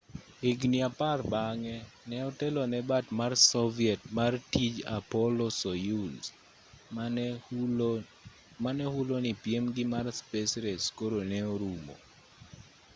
higni apar bang'e ne otelo ne bat mar soviet mar tij apollo-soyuz mane hulo ni piemgi mar space race koro ne orumo